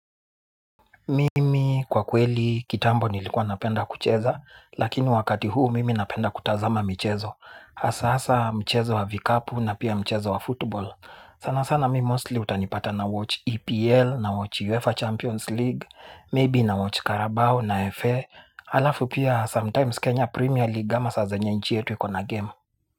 Mimi kwa kweli kitambo nilikuwa napenda kucheza, lakini wakati huu mimi napenda kutazama michezo. Asa asa mchezo wa vikapu na pia mchezo wa football. Sana sana mi mostly utanipata na watch EPL, na watch UEFA Champions League, maybe na watch Carabao na FA. Alafu pia sometimes Kenya Premier League ama sa zenye nji yettu ikona game.